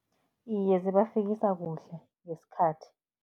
Iye, zibafikisa kuhle, ngesikhathi.